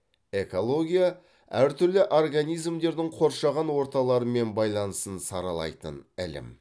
экология әртүрлі организмдердің қоршаған орталарымен байланысын саралайтын ілім